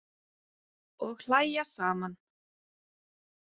Og hlæja saman.